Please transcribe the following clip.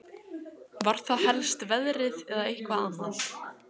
Jóhann: Var það helst veðrið eða eitthvað annað?